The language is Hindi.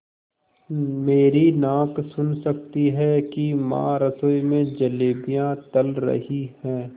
मेरी नाक सुन सकती है कि माँ रसोई में जलेबियाँ तल रही हैं